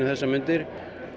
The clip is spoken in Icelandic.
þessar mundir